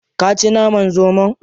Ka ci naman zomon?